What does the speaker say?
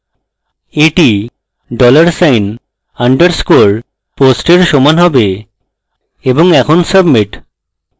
এটি dollar sign underscore post এর সমান হবে এবং এখন submit